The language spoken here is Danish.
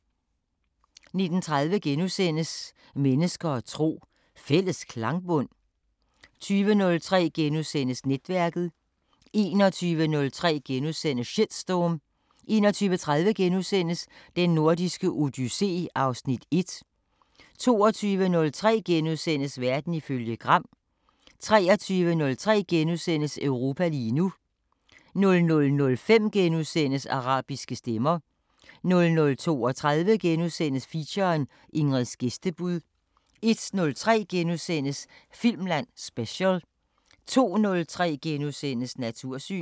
19:30: Mennesker og tro: Fælles klangbund? * 20:03: Netværket * 21:03: Shitstorm * 21:30: Den Nordiske Odyssé (Afs. 1)* 22:03: Verden ifølge Gram * 23:03: Europa lige nu * 00:05: Arabiske Stemmer * 00:32: Feature: Ingrids gæstebud * 01:03: Filmland Special * 02:03: Natursyn *